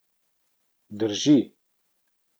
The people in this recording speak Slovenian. Drži.